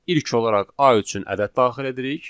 İlk olaraq A üçün ədəd daxil edirik.